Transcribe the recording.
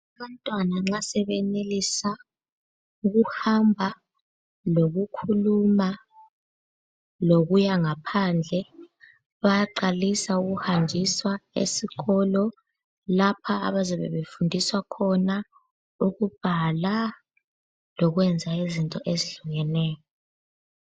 Abantwana nxa sebeyenelisa ukuhamba lokukhuluma , lokuya ngaphandle bayaqalisa ukuhanjiswa esikolo lapha abazabe befundiswa khona ukubhala lokwenza izinto ezehlukeneyo.